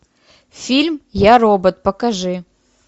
фильм я робот покажи